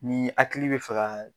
Ni hakili bɛ faga